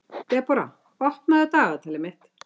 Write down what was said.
Debora, opnaðu dagatalið mitt.